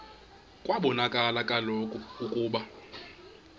kwabonakala kaloku ukuba